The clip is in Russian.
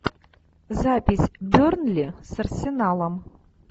запись бернли с арсеналом